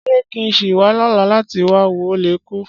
Ṣé kí n sì wá lọ́la láti wá wo Ó le Kú?